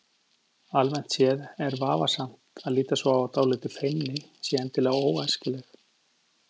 Almennt séð er vafasamt að líta svo á að dálítil feimni sé endilega óæskileg.